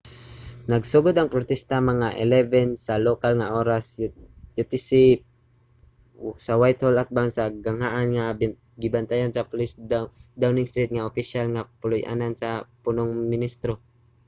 nagsugod ang protesta mga 11:00 sa lokal nga oras utc+1 sa whitehall atbang sa ganghaan nga gibantayan sa pulis sa downing street ang opisyal nga puluy-anan sa punong ministro